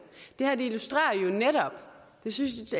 illustrerer jo netop synes